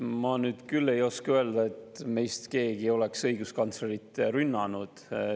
Ma nüüd küll ei, et meist keegi oleks õiguskantslerit rünnanud.